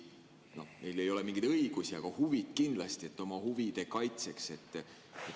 Sest neil ei ole mingeid õigusi, aga huvid on kindlasti.